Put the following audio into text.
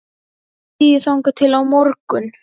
Ég er í fríi þangað til á morgun.